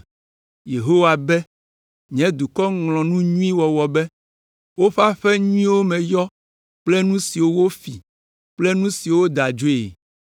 Yehowa be, “Nye dukɔ ŋlɔ nu nyui wɔwɔ be, woƒe aƒe nyuiwo me yɔ kple nu siwo wofi kple nu siwo woda adzoe.”